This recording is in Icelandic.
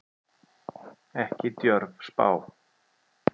Ekki djörf spá.